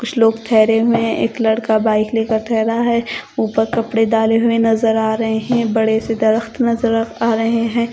कुछ लोग ठहरे हुए है एक लड़का बाइक लेकर ठहरा है ऊपर कपड़े डाले हुए नजर आ रहे हैं बड़े से दरख़्त नजर आ रहे हैं।